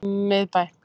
Miðbæ